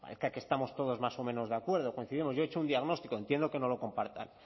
bueno parezca que estamos todos más o menos de acuerdo coincidimos yo he hecho un diagnóstico entiendo que no lo compartan